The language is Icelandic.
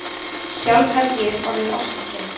Sjálf hef ég orðið ástfangin.